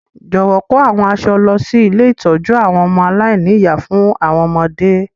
Jọ̀wọ́ kò àwọn aṣọ lọ si ilé ìtójú àwon ọmọ aláìní-ìyá fún àwọn ọmọdé.